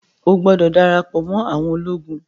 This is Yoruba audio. o gbódò darapo mọ àwọn ológun!